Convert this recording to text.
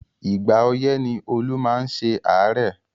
Ìgbà ọyẹ̀ ni Olú máa ń ṣe àárẹ̀